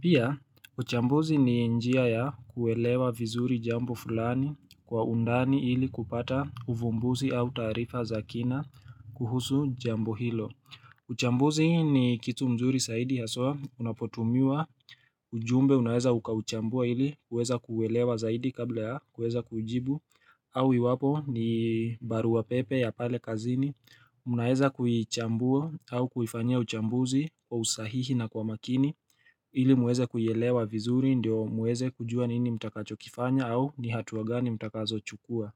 Pia, uchambuzi ni njia ya kuelewa vizuri jambo fulani kwa undani ili kupata uvumbuzi au taarifa za kina kuhusu jambo hilo. Uchambuzi ni kitu mzuri saidi haswa unapotumiwa ujumbe unaweza ukauchambua ili kuweza kuuelewa zaidi kabla ya kuweza kujibu au iwapo ni barua pepe ya pale kazini unaweza kuichambua au kuifanyia uchambuzi kwa usahihi na kwa makini ili muweze kuielewa vizuri ndio muweze kujua nini mtakacho kifanya au ni hatua gani mtakazo chukua.